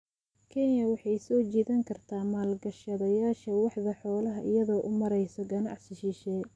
Kenya waxay soo jiidan kartaa maalgashadayaasha waaxda xoolaha iyadoo u mareysa ganacsi shisheeye.